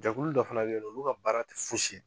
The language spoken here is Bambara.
Jɛkulu dɔ fana bɛ yennɔ olu ka baara tɛ fosi ye.